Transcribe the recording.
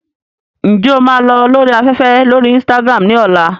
Ǹjẹ́ o máa lọ lórí afẹ́fẹ́ lórí Instagram ní ọ̀la?